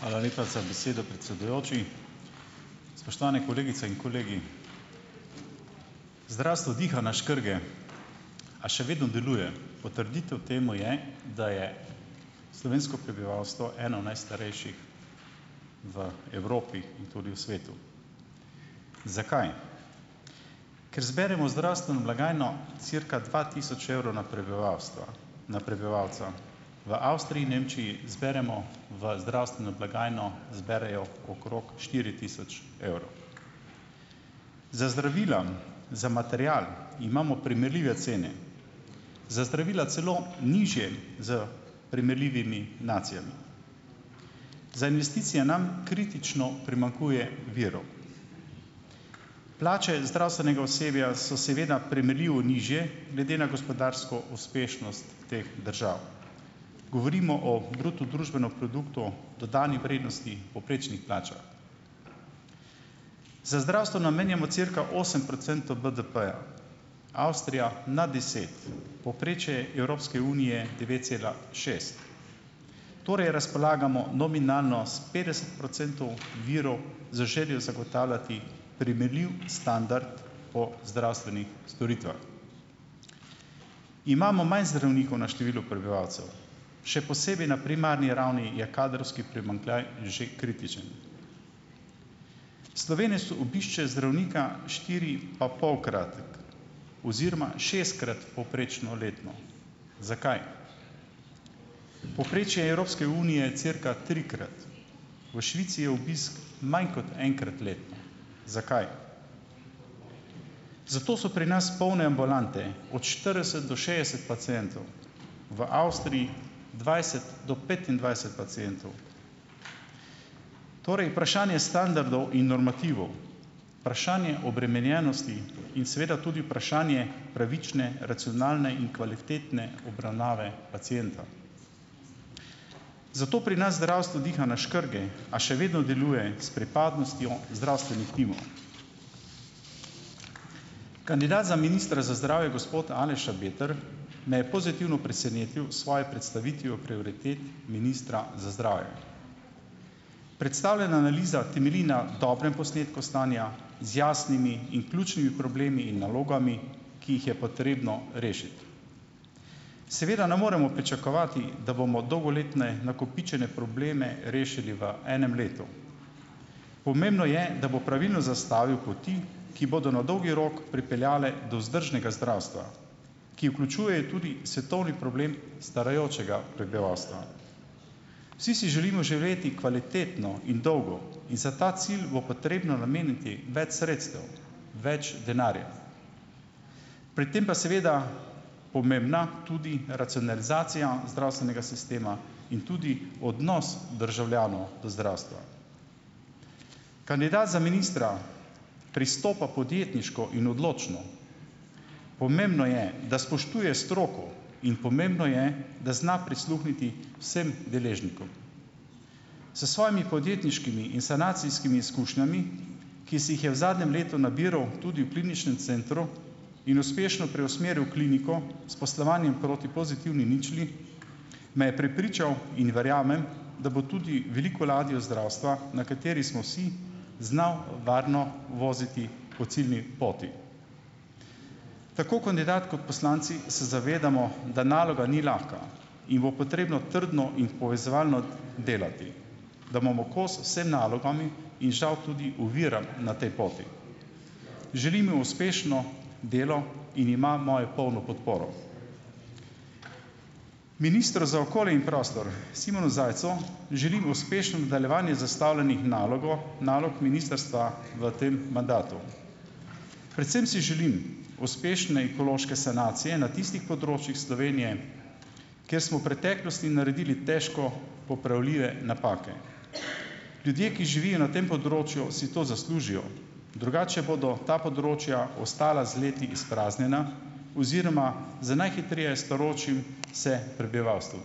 Hvala lepa za besedo, predsedujoči. Spoštovane kolegice in kolegi! Zdravstvo diha na škrge, a še vedno deluje, potrditev temu je, da je slovensko prebivalstvo eno najstarejših v Evropi in tudi v svetu. Zakaj? Ker zberemo v zdravstveno blagajno cirka dva tisoč evrov na prebivalstva, na prebivalca. V Avstriji in Nemčiji zberemo v zdravstveno blagajno zberejo okrog štiri tisoč evrov. Za zdravila, za material imamo primerljive cene, za zdravila celo nižje s primerljivimi nacijami. Za investicije nam kritično primanjkuje virov. Plače zdravstvenega osebja so seveda primerljivo nižje glede na gospodarsko uspešnost teh držav. Govorimo o bruto družbeno produktu, dodani vrednosti, povprečnih plačah. Za zdravstvo namenjamo cirka osem procentov BDP-ja, Avstrija nad deset. Povprečje Evropske unije je devet cela šest. Torej razpolagamo nominalno s petdeset procentov virov z željo zagotavljati primerljiv standard po zdravstvenih storitvah. Imamo manj zdravnikov na število prebivalcev. Še posebej na primarni ravni je kadrovski primanjkljaj že kritičen. Slovenec obišče zdravnika štiripapolkrat oziroma šestkrat povprečno letno. Zakaj? Povprečje Evropske unije je cirka trikrat, v Švici je obisk manj kot enkrat letno. Zakaj? Zato so pri nas polne ambulante od štirideset do šestdeset pacientov, v Avstriji dvajset do petindvajset pacientov. Torej vprašanje standardov in normativov vprašanje obremenjenosti in seveda tudi vprašanje pravične, racionalne in kvalitetne obravnave pacienta. Zato pri nas zdravstvo diha na škrge, a še vedno deluje s pripadnostjo zdravstvenih timov. Kandidat za ministra za zdravje gospod Aleš Šabeder me je pozitivno presenetil s svojo predstavitvijo prioritet ministra za zdravje. Predstavljena analiza temelji na dobrem posnetku stanja z jasnimi in ključnimi problemi in nalogami, ki jih je potrebno rešiti. Seveda ne moremo pričakovati, da bomo dolgoletne nakopičene probleme rešili v enem letu. Pomembno je, da bo pravilno zastavil poti, ki bodo na dolgi rok pripeljale do vzdržnega zdravstva, ki vključuje tudi svetovni problem starajočega prebivalstva. Vsi si želimo živeti kvalitetno in dolgo in za ta cilj bo potrebno nameniti več sredstev, več denarja. Pri tem pa seveda pomembna tudi racionalizacija zdravstvenega sistema in tudi odnos državljanov do zdravstva. Kandidat za ministra pristopa podjetniško in odločno, pomembno je, da spoštuje stroko in pomembno je, da zna prisluhniti vsem deležnikom. S svojimi podjetniškimi in sanacijskimi izkušnjami, ki si jih je v zadnjem letu nabiral tudi v Kliničnem centru in uspešno preusmeril kliniko s poslovanjem proti pozitivni ničli, me je prepričal in verjamem, da bo tudi veliko ladjo zdravstva, na kateri smo vsi, znal varno voziti po ciljni poti. Tako kandidat kot poslanci se zavedamo, da naloga ni lahka in bo potrebno trdno in povezovalno delati, da bomo kos vsem nalogam in žal tudi oviram na tej poti. Želim mu uspešno delo in ima imajo polno podporo. Ministru za okolje in prostor Simonu Zajcu želim uspešno nadaljevanje zastavljenih nalogo nalog ministrstva v tem mandatu. Predvsem si želim uspešne ekološke sankcije na tistih področjih Slovenije, kjer smo v preteklosti naredili težko popravljive napake. Ljudje, ki živijo na tem področju, si to zaslužijo, drugače bodo ta področja ostala z leti izpraznjena oziroma z najhitreje starajočim se prebivalstvom.